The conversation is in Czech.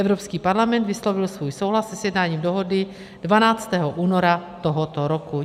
Evropský parlament vyslovil svůj souhlas se sjednáním dohody 12. února tohoto roku.